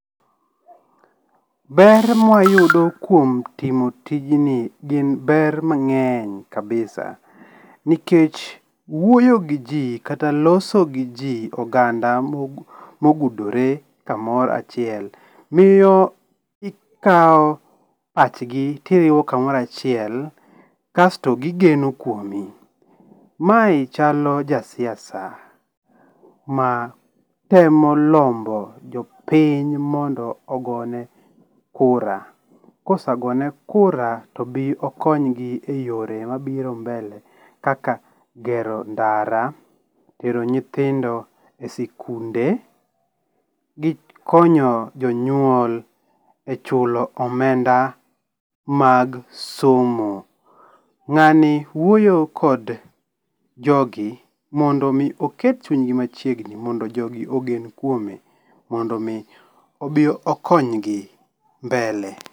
Ber ma wayudo kuom timo tijni gin be mngény kabisa, nikech wuoyo gi ji, kata loso gi ji oganda mogudore kamoro achiel, miyo ikawo pachgi tiriwo kamoro achiel kasto gigeno kuomi. Mae chalo jasiasa, matemo lombo jopiny mondo ogone kura, kosegone kura tobi okonygi e yore mabiro mbele kaka gero ndara, tero nyithindo e sikunde, gi konyo jonyuol e chulo omenda mag somo. Ngáni wuoyo kod jogi mondi omi oket chuny go machiegni mondo jogi ogen kuome mondo omi obi okonygi mbele